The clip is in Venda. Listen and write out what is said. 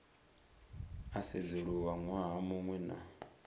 a sedzuluswa ṅwaha muṅwe na